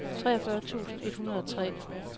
treogfyrre tusind et hundrede og tre